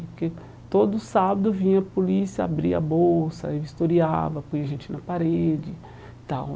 Porque todo sábado vinha a polícia, abria a bolsa, aí vistoriava, punha a gente na parede e tal.